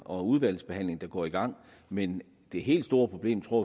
og udvalgsbehandling der går i gang men det helt store problem tror